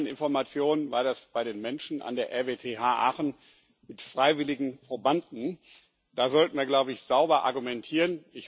Nach meinen Informationen war das bei den Menschen an der RWTH Aachen mit freiwilligen Probanden. Da sollte man, glaube ich, sauber argumentieren.